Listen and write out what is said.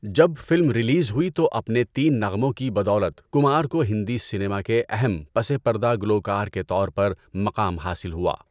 جب film release ہوئی تو اپنے تین نغموں کی بدولت کمار کو ہندی سنیما کے اہم پسِ پردہ گلوکار کے طور پر مقام حاصل ہوا۔